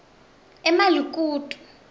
emalikutu